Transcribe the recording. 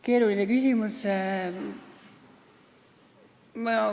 Keeruline küsimus.